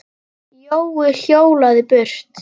Jói hjólaði burt.